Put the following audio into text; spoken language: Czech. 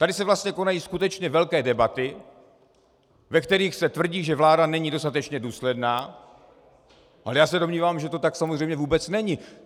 Tady se vlastně konají skutečně velké debaty, ve kterých se tvrdí, že vláda není dostatečně důsledná, ale já se domnívám, že to tak samozřejmě vůbec není.